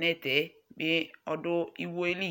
netɛ bɩ ɔdʋ iwo yɛ li